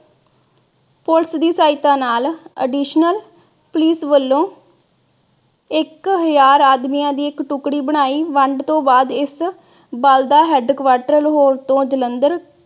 police ਦੀ ਸਹਾਇਤਾ additional police ਵਲੋਂ ਇਕ ਹਜਾਰ ਆਦਮੀਆਂ ਦੀ ਇਕ ਟੁਕੜੀ ਬਣਾਈ। ਵੰਡ ਤੋਂ ਬਾਅਦ ਇਸ ਬਲ ਦਾ headquarter ਲਾਹੌਰ ਤੋਂ ਜਲੰਧਰ